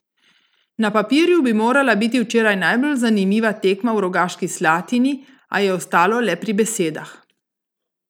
Na papirju bi morala biti včeraj najbolj zanimiva tekma v Rogaški Slatini, a je ostalo le pri besedah.